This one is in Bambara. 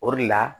O de la